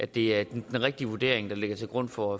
det er den rigtige vurdering der ligger til grund for